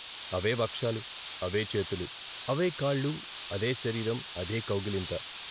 అవే వక్షాలు, అవే చేతులు, అవే కాళ్ళు, అదే శరీరం, అదే కౌగిలింత.